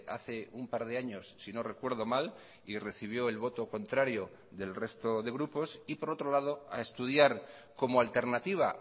hace un par de años si no recuerdo mal y recibió el voto contrario del resto de grupos y por otro lado a estudiar como alternativa